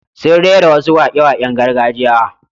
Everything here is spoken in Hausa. Sun rera wasu waƙe-waƙen gargajiya.